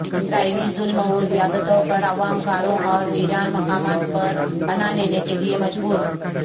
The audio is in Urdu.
اسرائیلی ظلم و زیادتیوں پر عوام غاروں اور ویران مقامات پر پناہ لینے کیلئے مجبور